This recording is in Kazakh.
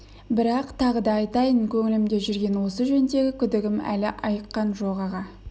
бірақ тағы да айтайын көңілімде жүрген осы жөндегі күдігім әлі айыққан жоқ аға